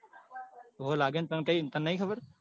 હોવે લાગ્યો ને તને કૈક તને નહિ ખબર?